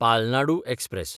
Palnadu express